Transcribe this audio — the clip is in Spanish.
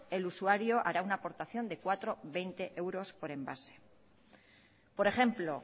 el usuario hará una aportación de cuatro coma veinte euros por envase por ejemplo